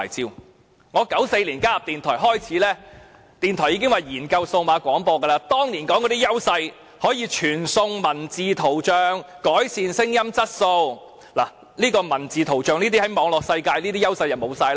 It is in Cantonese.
自從我在1994年加入電台開始，電台方面已表示要研究進行數碼廣播，當年所說的優勢包括可以傳送文字圖像、改善聲音質素，但在文字圖像方面，它在網絡世界的優勢已完全失去。